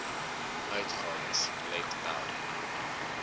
uitgawes let wel